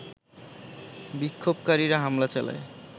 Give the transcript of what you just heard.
বিক্ষোভকারীরা হামলা চালায়